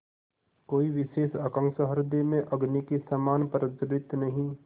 कोई विशेष आकांक्षा हृदय में अग्नि के समान प्रज्वलित नहीं